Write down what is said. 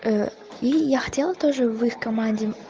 и я хотела тоже в их команде